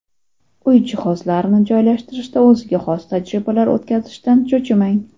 Uy jihozlarini joylashtirishda o‘ziga xos tajribalar o‘tkazishdan cho‘chimang.